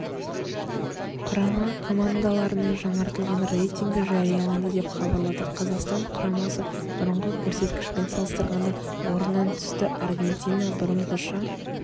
құрама командаларының жаңартылған рейтингі жарияланды деп хабарлады қазақстан құрамасы бұрынғы көрсеткішпен салыстырғанда орыннан түсті аргентина бұрынғыша